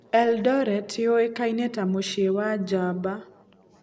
Eldoret yũĩkaine ta "Mũciĩ wa njamba."